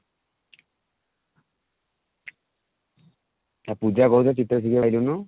ଆ ପୂଜା କହୁଥିଲା ଚିତ୍ର ଶିଖିବାକୁ ଆଇଲୁନୁ